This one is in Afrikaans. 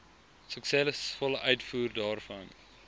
suksesvolle uitvoer daarvan